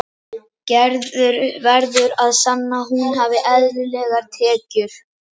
Gerður verður að sanna að hún hafi eðlilegar tekjur.